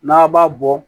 N'a b'a bɔ